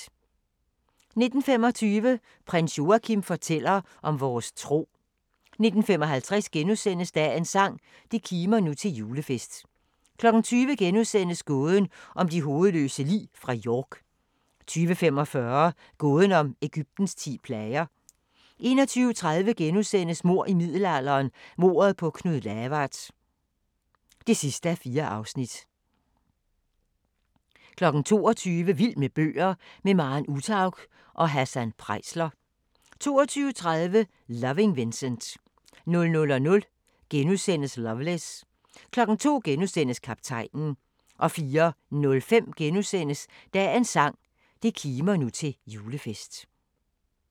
19:25: Prins Joachim fortæller om vores tro 19:55: Dagens sang: Det kimer nu til julefest * 20:00: Gåden om de hovedløse lig fra York * 20:45: Gåden om Egyptens ti plager 21:30: Mord i middelalderen – mordet på Knud Lavard (4:4)* 22:00: Vild med bøger: Med Maren Uthaug og Hassan Preisler 22:30: Loving Vincent 00:00: Loveless * 02:00: Kaptajnen * 04:05: Dagens sang: Det kimer nu til julefest *